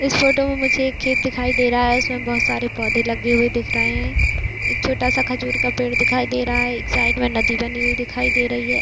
इस फोटो मे मुझे एक खेत दिखाई दे रहा है उसमे बहुत सारे पौधे लगे हुए दिख रहे है एक छोटा सा खजूर का पेड़ दिखाई दे रहा है एक साइड मे नदी बनी हुई दिखाई दे रही है।